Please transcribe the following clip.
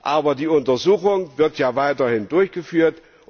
Aber die Untersuchung wird ja weiterhin durchgeführt.